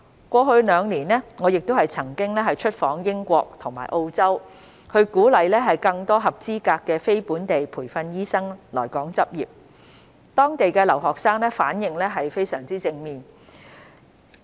過去兩年，我亦曾出訪英國及澳洲，鼓勵更多合資格的非本地培訓醫生來港執業，當地的留學生反應非常正面。